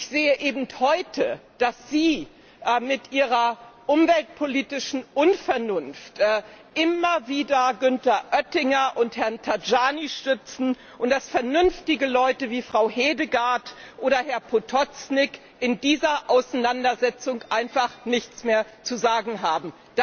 Ich sehe eben heute, dass Sie mit Ihrer umweltpolitischen Unvernunft immer wieder Günther Oettinger und Herrn Tajani stützen und dass vernünftige Leute wie Frau Hedegaard oder Herr Potočnik in dieser Auseinandersetzung einfach nichts mehr zu sagen haben.